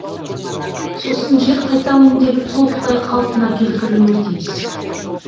сосын жер қайта өңделіп толықтай қалыпна келтірілуі тиіс